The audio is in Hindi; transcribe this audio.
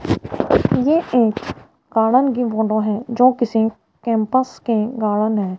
ये एक गार्डन की फोटो है जो किसी कैंपस की गार्डन है।